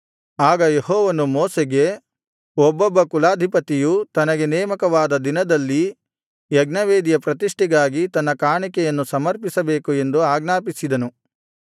ಆಗ ಯೆಹೋವನು ಮೋಶೆಗೆ ಒಬ್ಬೊಬ್ಬ ಕುಲಾಧಿಪತಿಯು ತನಗೆ ನೇಮಕವಾದ ದಿನದಲ್ಲಿ ಯಜ್ಞವೇದಿಯ ಪ್ರತಿಷ್ಠೆಗಾಗಿ ತನ್ನ ಕಾಣಿಕೆಯನ್ನು ಸಮರ್ಪಿಸಬೇಕು ಎಂದು ಆಜ್ಞಾಪಿಸಿದನು